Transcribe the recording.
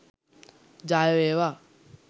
ජය වේවා